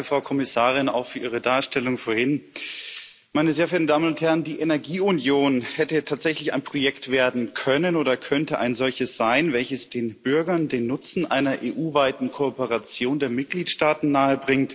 Danke, Frau Kommissarin, auch für Ihre Darstellung vorhin. Meine sehr verehrten Damen und Herren! Die Energieunion hätte tatsächlich ein Projekt werden können oder könnte ein solches sein, das den Bürgern den Nutzen einer EU weiten Kooperation der Mitgliedsstaaten nahebringt